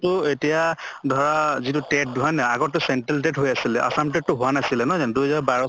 তো এতিয়া ধৰা যিটো TET হয় নে নহয় আগৰ টো central TET হৈ আছিলে assam TET তো হোৱা নাছিলে, নহয় জানো? দুই হেজাৰ বাৰ